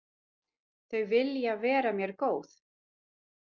Þau vilja vera mér góð.